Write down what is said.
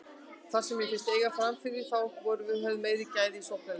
Það sem mér fannst við eiga framyfir þá var við höfðum meiri gæði í sóknarleiknum.